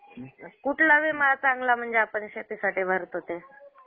कुठला विमा चांगला म्हणजे आपण शेतीसाठी भरतो ते?